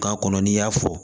K'a kɔnɔ n'i y'a fɔ